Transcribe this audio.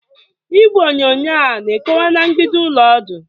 Igwe onyonyo a na-ekowe na mgbidi ụlọ ọdụ?